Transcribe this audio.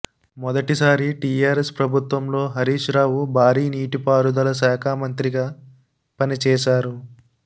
మెదటి సారి టీఆర్ఎస్ ప్రభుత్వంలో హరీష్ రావు భారీ నీటిపారుదల శాఖమంత్రిగా పనిచేశారు